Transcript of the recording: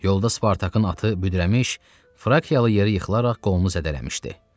Yolda Spartakın atı büdrəmiş, Frakiyalı yeri yıxılaraq qolunu zədələmişdi.